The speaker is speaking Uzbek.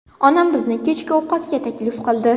Onam bizni kechki ovqatga taklif qildi.